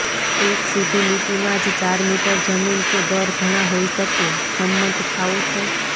એક સીધી લીટીમાં જ ચાર મીટર જમીન કે દર ઘણા હોઈ શકે સંમત થાઓ છો